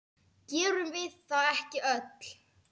Gerum við það ekki öll?